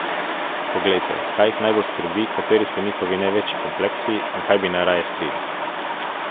Poglejte, kaj jih najbolj skrbi, kateri so njihovi največji kompleksi in kaj bi najraje skrili.